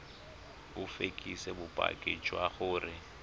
o fekese bopaki jwa gore